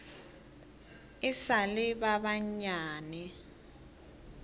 e sa le ba banyane